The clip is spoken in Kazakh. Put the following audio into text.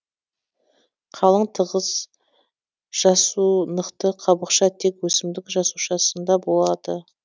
қалың тығыз жасунықты қабықша тек өсімдік жасушасында болады